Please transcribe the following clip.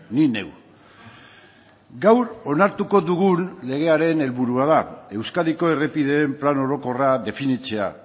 ni neu gaur onartuko dugun legearen helburua da euskadiko errepideen plan orokorra definitzea